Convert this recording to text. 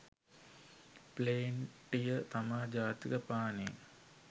ප්ලේන්ටිය තමා ජාතික පානේ